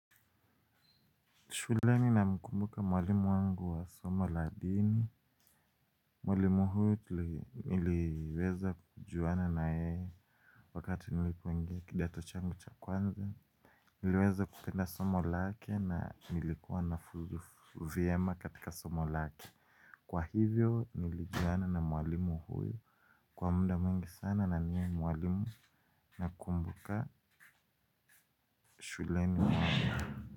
Shuleni na mkumbuka mwalimu wangu wa somo ladini. Mwalimu huyu niliweza kujuana na yeye wakati nilikk ingia kidato changu cha kwanza. Niliweza kupenda somo lake na nilikuwa nafuzu vyema katika somo lake. Kwa hivyo nilijuana na mwalimu huyu kwa muda mwingi sana na niye ni mwalimu na kumbuka shuleni wangu.